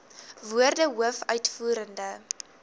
woorde hoof uitvoerende